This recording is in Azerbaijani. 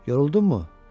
Yoruldunmu?